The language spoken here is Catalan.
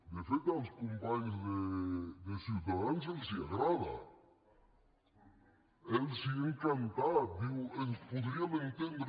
de fet als companys de ciutadans els agrada els ha encantat diu ens podríem entendre